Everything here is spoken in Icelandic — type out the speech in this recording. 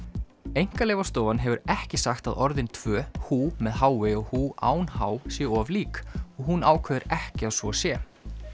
Einkaleyfastofan hefur ekki sagt að orðin tvö með h i og án h séu of lík og hún ákveður ekki að svo sé